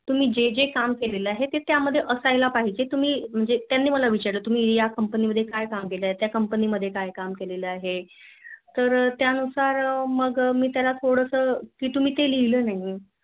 तुम्ही जेजे काम केलेल आहे ते त्या मध्ये असायला पाहीजे तुम्ही त्याने मला विचारल तुम्ही या Company मध्ये काय काम केलेल आहे त्‍या Company मध्‍ये काय काम केलेल अहे तर त्‍यानुसार मिली मी त्‍याला थोड्‍स की तुम्‍ही ते लिहिलं नाहीआहे